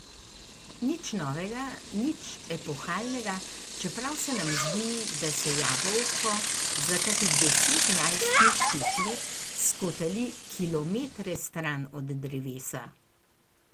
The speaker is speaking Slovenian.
Nič novega, nič epohalnega, čeprav se nam zdi, da se jabolko za kakih deset najstniških let skotali kilometre stran od drevesa.